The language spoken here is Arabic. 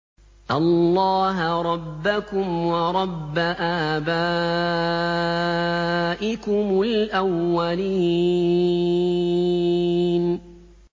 اللَّهَ رَبَّكُمْ وَرَبَّ آبَائِكُمُ الْأَوَّلِينَ